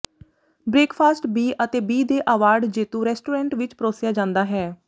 breakfast B ਅਤੇ B ਦੇ award ਜੇਤੂ ਰੈਸਟੋਰੈਂਟ ਵਿੱਚ ਪਰੋਸਿਆ ਜਾਂਦਾ ਹੈ